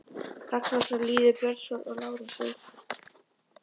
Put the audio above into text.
Ragnarsson, Lýður Björnsson og Lárus Jónsson.